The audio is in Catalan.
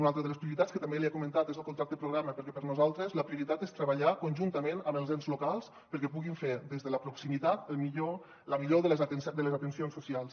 una altra de les prioritats que també li he comentat és el contracte programa perquè per nosaltres la prioritat és treballar conjuntament amb els ens locals perquè puguin fer des de la proximitat la millor de les de les atencions socials